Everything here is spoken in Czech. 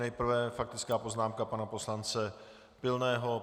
Nejprve faktická poznámka pana poslance Pilného.